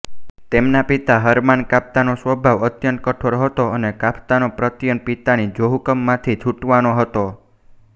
તેમના પિતા હરમાન કાફકાનો સ્વભાવ અત્યંત કઠોર હતો અને કાફકાનો પ્રયત્ન પિતાની જોહુકમીમાંથી છૂટવાનો હતો